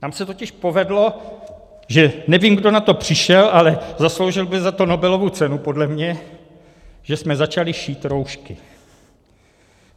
Tam se totiž povedlo, že - nevím, kdo na to přišel, ale zasloužil by za to Nobelovu cenu podle mě - že jsme začali šít roušky.